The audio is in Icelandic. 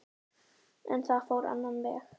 En það fór á annan veg.